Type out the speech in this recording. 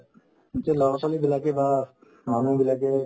যে ল'ৰা-ছোৱালীবিলাকে বা মানুহবিলাকে